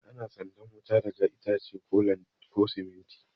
Ana sandan wuta ne daga itace ko siminti